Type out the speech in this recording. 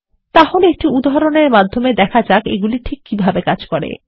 তাহলে একটি উদাহরণ মাধ্যমে দেখা যাক এগুলি কীভাবে কাজ করে